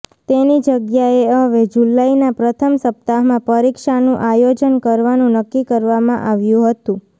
તેની જગ્યાએ હવે જુલાઈના પ્રથમ સપ્તાહમાં પરીક્ષાનું આયોજન કરવાનું નક્કી કરવામાં આવ્યું હતું